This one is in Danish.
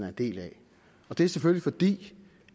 en del af det er selvfølgelig fordi